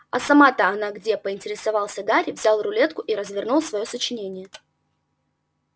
а сама-то она где поинтересовался гарри взял рулетку и развернул своё сочинение